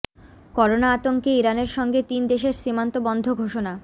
corona আতঙ্কে ইরানের সঙ্গে তিন দেশের সীমান্ত বন্ধ ঘোষণা